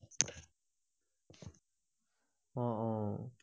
অ অ